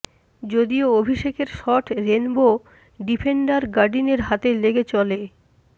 যদিও অভিষেকের shot rainbow defender গডিনের হাতে লেগে চলে